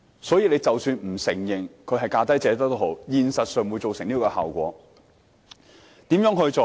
所以，即使政府不承認是"價低者得"，現實上亦造成這效果。